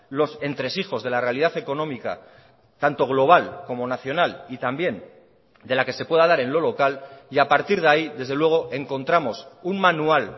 los entresijos de la realidad económica tanto global como nacional y también de la que se pueda dar en lo local y a partir de ahí desde luego encontramos un manual